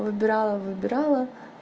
выбирала выбирала